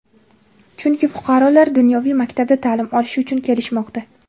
chunki fuqarolar dunyoviy maktabda ta’lim olish uchun kelishmoqda.